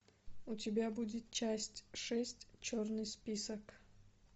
у тебя будет часть шесть черный список